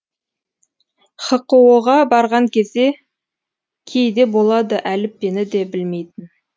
хқо ға барған кезде кейде болады әліппені де білмейтін